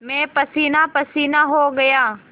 मैं पसीनापसीना हो गया